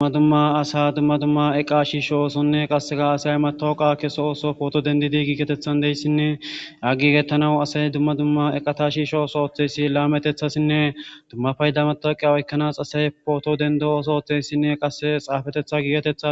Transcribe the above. Dumma dumma asa dumma dumma eqa shiisho oosonne qasseka asay matooqa keso ooso pooto dendidi giigetethan deyssinne aggigettanawu asay dumma dumma eqata shiisho oso oththeyssi laametethasinne dumma payda mataqe oykkanas asay pooto dendo ooso oteyssinne qasse xaafetetha giigetetha.